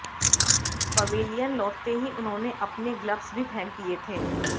pavilion लाैटते ही उन्होंने अपने ग्लब्स भी फेंक दिए थे